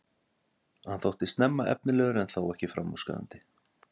Hann þótti snemma efnilegur en þó ekki framúrskarandi.